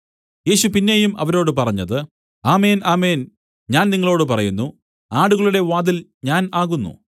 യേശു പിന്നെയും അവരോട് പറഞ്ഞത് ആമേൻ ആമേൻ ഞാൻ നിങ്ങളോടു പറയുന്നു ആടുകളുടെ വാതിൽ ഞാൻ ആകുന്നു